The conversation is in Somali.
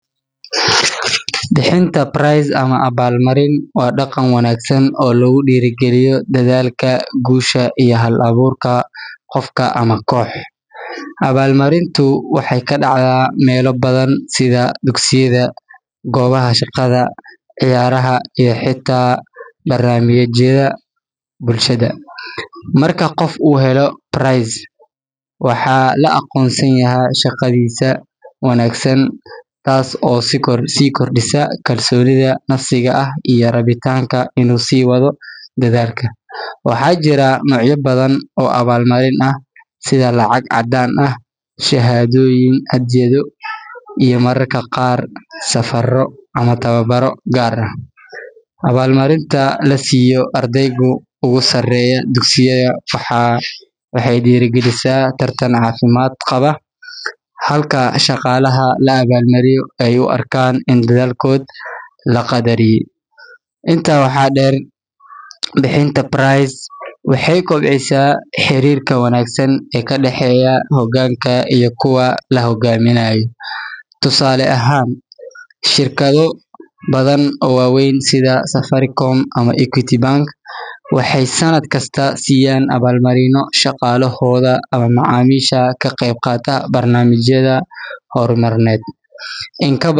Bixinta prize ama abaalmarin waa dhaqan wanaagsan oo lagu dhiirrigeliyo dadaalka, guusha, iyo hal-abuurka qofka ama koox. Abaalmarintu waxay ka dhacdaa meelo badan sida dugsiyada, goobaha shaqada, ciyaaraha iyo xitaa barnaamijyada bulshada. Marka qof uu helo prize, waxaa la aqoonsanayaa shaqadiisa wanaagsan, taas oo sii kordhisa kalsoonida nafsiga ah iyo rabitaanka inuu sii wado dadaalka. Waxaa jira noocyo badan oo abaalmarin ah, sida lacag caddaan ah, shahaadooyin, hadyado, iyo mararka qaar safarro ama tababaro gaar ah. Abaalmarinta la siiyo ardayda ugu sarreeya dugsiyada waxay dhiirrigelisaa tartan caafimaad qaba, halka shaqaalaha la abaalmariyo ay u arkaan in dadaalkooda la qadariyay. Intaa waxaa dheer, bixinta prize waxay kobcisaa xiriirka wanaagsan ee ka dhexeeya hoggaanka iyo kuwa la hoggaaminayo. Tusaale ahaan, shirkado badan oo waaweyn sida Safaricom ama Equity Bank waxay sannad kasta siiyaan abaalmarino shaqaalahooda ama macaamiisha ka qeyb qaata barnaamijyada horumarineed. In ka badan.